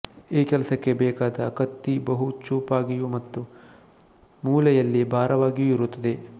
ಈ ಕೆಲಸಕ್ಕೆ ಬೇಕಾದ ಕತ್ತಿ ಬಹು ಚೂಪಾಗಿಯೂ ಮತ್ತೆ ಮೂಲೆಯಲ್ಲಿ ಭಾರವಾಗಿಯೂ ಇರುತ್ತದೆ